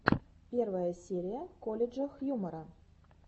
первая серия колледжа хьюмора